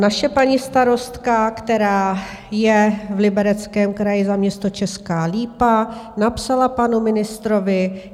Naše paní starostka, která je v Libereckém kraji za město Česká Lípa, napsala panu ministrovi.